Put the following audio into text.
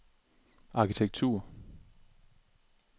arkitektur